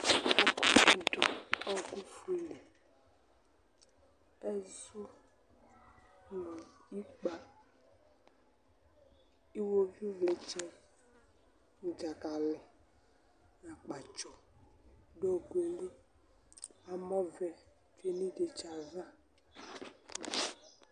̈̈ɛkuɛdɩnɩ dʊ ɔkʊ fue li, ɛzʊ, nʊ ikpǝ, iwoviuvlɩtsɛ nʊ dzakalɩ, nʊ akpatsɔ dʊ ɔkʊ yɛ li, amɔvɛ tsue nʊ ivdetsi yɛ ava